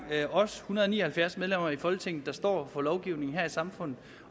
os en hundrede og ni og halvfjerds medlemmer i folketinget der står for lovgivningen her i samfundet